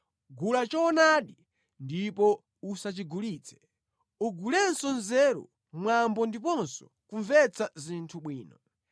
Gula choonadi ndipo usachigulitse; ugulenso nzeru, mwambo ndiponso kumvetsa zinthu bwino.